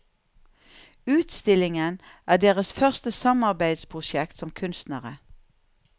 Utstillingen er deres første samarbeidsprosjekt som kunstnere.